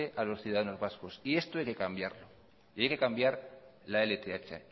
a los ciudadanos vasco y esto hay que cambiarlo y hay que cambiar la lth